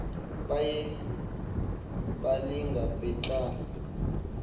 baye balinga beqale